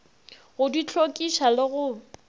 go di hlwekiša le go